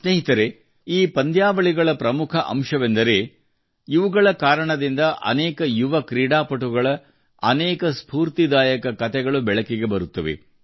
ಸ್ನೇಹಿತರೇ ಈ ಪಂದ್ಯವಾಳಿಗಳ ಪ್ರಮುಖ ಅಂಶವೆಂದರೆ ಇವುಗಳ ಕಾರಣದಿಂದ ಅನೇಕ ಯುವ ಕ್ರೀಡಾಪಟುಗಳ ಅನೇಕ ಸ್ಫೂರ್ತಿದಾಯಕ ಕತೆಗಳು ಬೆಳಕಿಗೆ ಬರುತ್ತವೆ